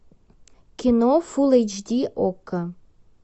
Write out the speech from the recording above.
кино фул эйч ди окко